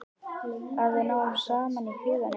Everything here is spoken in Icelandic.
Að við náum saman í huganum.